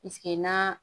na